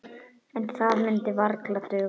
En það myndi varla duga.